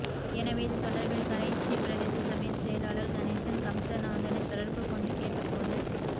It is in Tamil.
எனவே இது தொடா்பில் கரைச்சி பிரதேச சபையின் செயலாளா் கணேசன் கம்சநாதனை தொடா்பு கொண்டு கேட்ட போது